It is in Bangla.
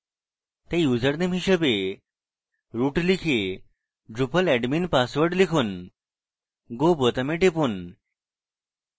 তাই ইউসারনেম হিসাবে root লিখে drupal admin password লিখুন go বোতামে টিপুন